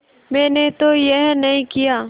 मैंने तो यह नहीं किया